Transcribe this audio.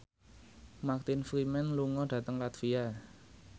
Martin Freeman lunga dhateng latvia